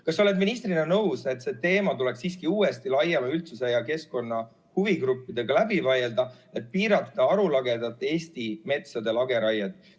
Kas sa oled ministrina nõus, et see teema tuleks siiski uuesti laiema üldsuse ja keskkonna huvigruppidega läbi vaielda, et piirata Eesti metsade arulagedat lageraiet?